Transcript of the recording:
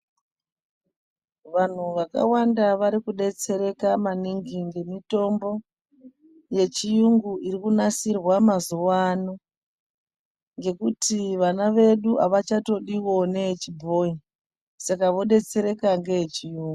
Vantu vakawanda varikudetsereka maningi ngemutombo yechirungu irikunasirwa mazuwa ano. Ngekuti vana vedu avachatodiwo neyechibhoyi, saka vodetsereka nageyechirungu.